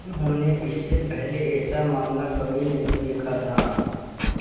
उन्होंने इससे पहले ऐसा मामला कभी नहीं देखा था